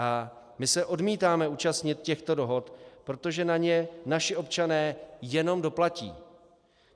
A my se odmítáme účastnit těchto dohod, protože na ně naši občané jenom doplatí.